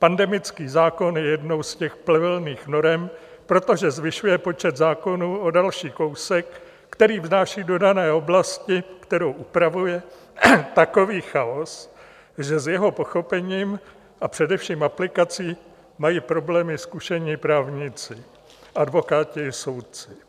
Pandemický zákon je jednou z těch plevelných norem, protože zvyšuje počet zákonů o další kousek, který vnáší do dané oblasti, kterou upravuje, takový chaos, že s jeho pochopením a především aplikací mají problémy zkušení právníci - advokáti i soudci.